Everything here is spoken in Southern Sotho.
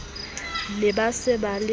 ne ba se ba se